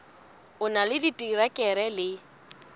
o na le diterekere le